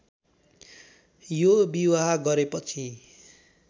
यो विवाह गरेपछि